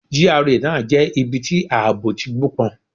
GRA náà jẹ́ ibi tí àbọ̀ ti gbó pọn.